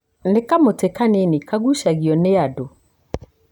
Nĩ kamũtĩ kanini kagũcagio nĩ andũ.